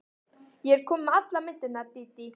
Ég er komin með allar myndirnar, Dídí.